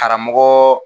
Karamɔgɔ